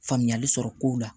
Faamuyali sɔrɔ kow la